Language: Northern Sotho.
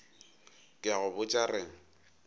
ke a go botša re